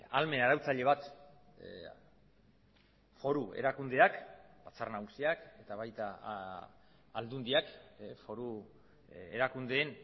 ahalmen arautzaile bat foru erakundeak batzar nagusiak eta baita aldundiak foru erakundeen